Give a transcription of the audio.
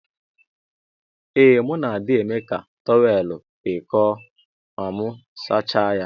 Ee mu na adi eme ka tọwel kpụọ nkụ ma mu sacha ya.